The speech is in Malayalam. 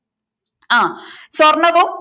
ആ സ്വർണവും